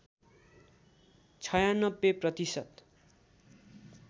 ९६ प्रतिशत